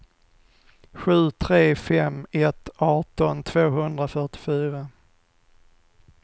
sju tre fem ett arton tvåhundrafyrtiofyra